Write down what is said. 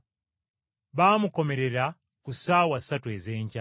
Baamukomerera ku ssaawa ssatu ez’enkya.